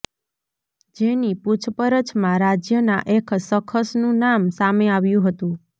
જેની પુછપરછમાં રાજ્યના એક શખસનું નામ સામે આવ્યું હતું